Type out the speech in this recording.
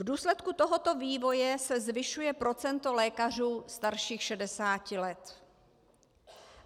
V důsledku tohoto vývoje se zvyšuje procento lékařů starších 60 let.